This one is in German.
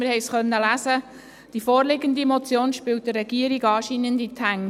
Wir konnten es lesen, die vorliegende Motion spielt der Regierung anscheinend in die Hände.